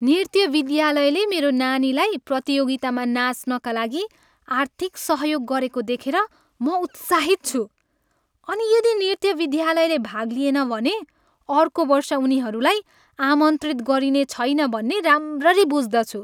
नृत्य विद्यालयले मेरो नानीलाई प्रतियोगितामा नाच्नका लागि आर्थिक सहयोग गरेको देखेर म उत्साहित छु अनि यदि नृत्य विद्यालयले भाग लिएन भने अर्को वर्ष उनीहरूलाई आमन्त्रित गरिने छैन भन्ने राम्ररी बुझ्दछु।